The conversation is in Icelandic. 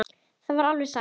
Það var alveg satt.